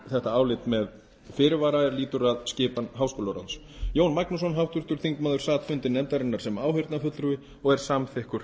þetta álit með fyrirvara er lýtur að skipan háskólaráðs jón magnússon háttvirtur þingmaður sat fundi nefndarinnar sem áheyrnarfulltrúi og er samþykkur